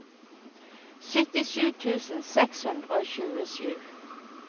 syttisju tusen seks hundre og tjuesju